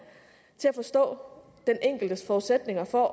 til at forstå den enkeltes forudsætninger for